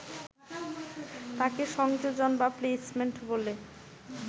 তাকে সংযোজন বা প্লেসমেন্ট বলে